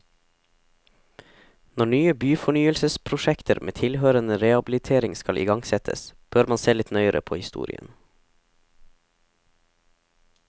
Når nye byfornyelsesprosjekter med tilhørende rehabilitering skal igangsettes, bør man se litt nøyere på historien.